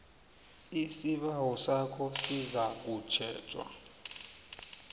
isibawo sakho sizakutjhejwa